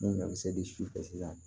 N'o ɲɔkisɛ de si fɛ sisan